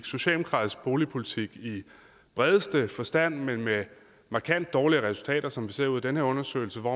socialdemokratisk boligpolitik i bredeste forstand men med markant dårligere resultater som vi ser ud af den her undersøgelse